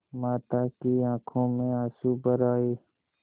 माता की आँखों में आँसू भर आये